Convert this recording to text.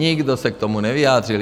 Nikdo se k tomu nevyjádřil.